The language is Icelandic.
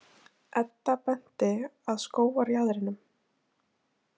Edda benti að skógarjaðrinum.